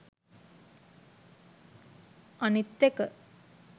අනිත් එක